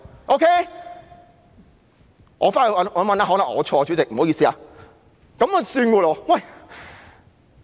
"——我回去翻查一下，可能我錯了，主席，不好意思。